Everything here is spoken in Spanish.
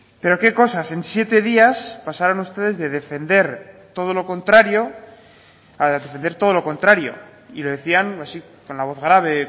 pero qué cosas en siete días pasaron ustedes de defender todo lo contrario a defender todo lo contrario y lo decían así con la voz grave